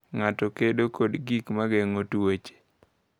Ng’ato kedo kod gik ma geng’o tuoche.